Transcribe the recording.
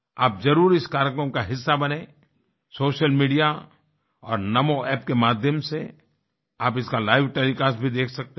आप जरुर इस कार्यक्रम का हिस्सा बनेंसोशल मीडिया और नमो ऐप के माध्यम से आप इसका लाइव टेलीकास्ट भी देख सकते हैं